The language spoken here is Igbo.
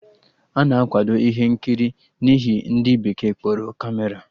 Ana akwado ihe nkiri n'ihe ndị bekee kpọrọ Kamera